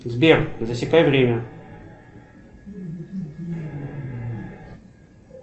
сбер засекай время